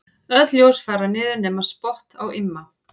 Öll ljós fara niður nema spott á Imma.